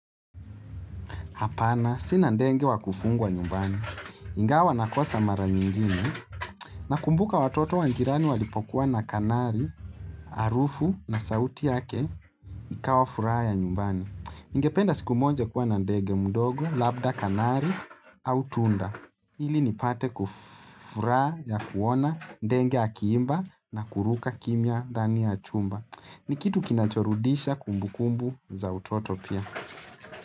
Hapana sina ndege wakufungwa nyumbani. Ingawa nakosa mara nyingine na kumbuka watoto wa jirani walipokuwa na kanari, arufu na sauti yake ikawa furaha ya nyumbani. Ningependa siku moja kuwa na ndege mdogo, labda kanari au tunda. Ili nipate furaha ya kuona ndege akiimba na kuruka kimia ndani ya chumba. Ni kitu kinacho rudisha kumbukumbu za utoto pia.